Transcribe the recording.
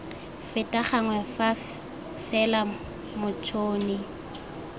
feta gangwe fa fela motšhoni